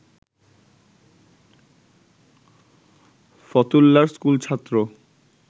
ফতুল্লার school ছাত্র